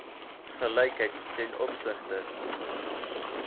gelykheid ten opsigte